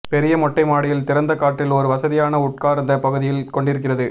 பெரிய மொட்டை மாடியில் திறந்த காற்றில் ஒரு வசதியான உட்கார்ந்த பகுதியில் கொண்டிருக்கிறது